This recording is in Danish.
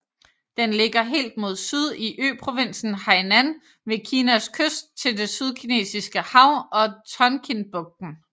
Den ligger helt mod syd i øprovinsen Hainan ved Kinas kyst til det Sydkinesiske Hav og Tonkinbugten